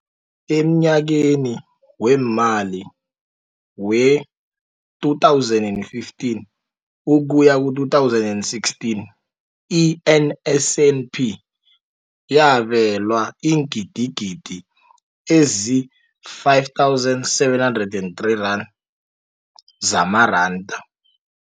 Emnyakeni weemali we-2015 ukuya ku-2016, i-NSNP yabelwa iingidigidi ezi-5 703 zamaranda.